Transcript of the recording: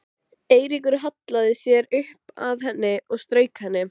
Eiríkur hallaði sér upp að henni og strauk henni.